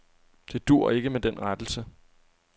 Det duer ikke med den rettelse.